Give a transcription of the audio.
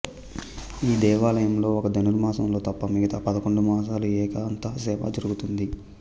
ఈ దేవాలయంలో ఒక్క ధనుర్మాసంలో తప్ప మిగతా పదకొండు మాసాలు ఏకాంతసేవ జరుగుతుంది